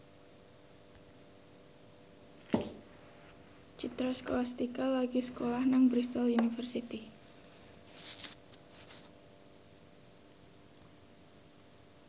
Citra Scholastika lagi sekolah nang Bristol university